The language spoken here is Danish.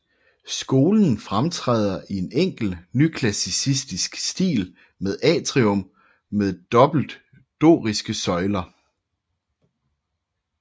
Skolen fremtræder i en enkel nyklassicistisk stil med atrium med dobbelte doriske søjler